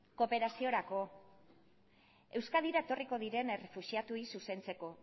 kooperaziorako euskadira etorriko diren errefuxiatuei zuzentzeko